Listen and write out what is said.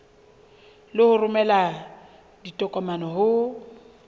le ho romela ditokomane ho